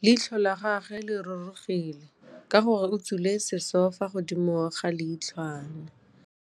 Leitlhô la gagwe le rurugile ka gore o tswile sisô fa godimo ga leitlhwana.